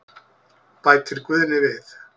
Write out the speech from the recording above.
Bætir Guðni við.